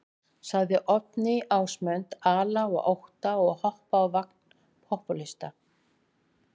Sagði Oddný Ásmund ala á ótta og hoppa á vagn popúlista.